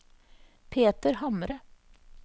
Peter Hamre